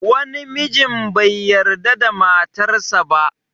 Wani mijin bai yarda da matar sa ba